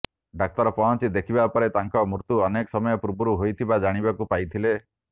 ଡାକ୍ତର ପହଞ୍ଚି ଦେଖିବା ପରେ ତାଙ୍କ ମୃତ୍ୟୁ ଅନେକ ସମୟ ପୂର୍ବରୁ ହୋଇଥିବା ଜାଣିବାକୁ ପାଇଥିଲେ